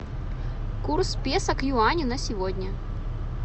курс песо к юаню на сегодня